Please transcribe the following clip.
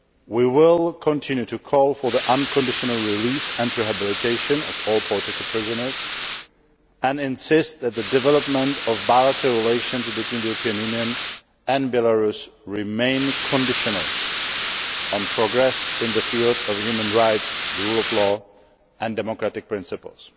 We will continue to call for the unconditional release and rehabilitation of all political prisoners and insist that the development of bilateral relations between the European Union and Belarus remains conditional on progress in the field of human rights, the rule of law and democratic principles.